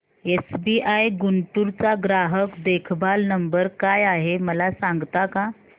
SBI Guntur चा ग्राहक देखभाल नंबर काय आहे मला सांगता का